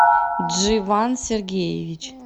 дживан сергеевич